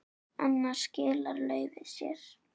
Annars skilar laufið sér.